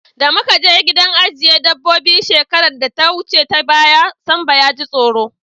Da muka je gidan ajiye dabobbi shekarar da ta wuce ta baya, Sambo ya ji tsoro.